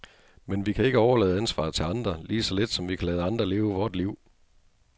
Men vi kan ikke overlade ansvaret til andre, lige så lidt som vi kan lade andre leve vort liv.